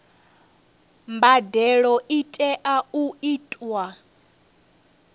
mbadelo i tea u itwa